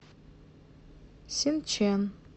синчэн